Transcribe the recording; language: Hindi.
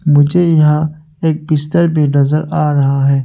मुझे यहां एक बिस्तर भी नजर आ रहा है।